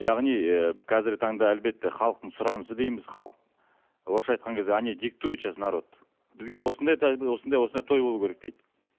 яғни ы қазіргі таңда әлбетте халықтың сұранысы дейміз орысша айтқан кезде они диктуют сейчас народ бізге осындай да осындай осындай той болуы керек дейді